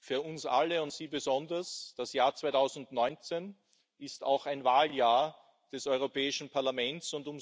Für uns alle und Sie besonders ist das Jahr 2019 auch ein Wahljahr des Europäischen Parlaments.